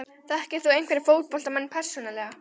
Þekkir þú einhverja fótboltamenn persónulega?